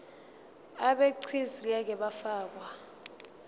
abegcis ngeke bafakwa